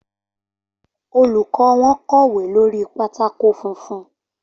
Olùkọ́ wọn kọ̀wé lórí pátákó funfun.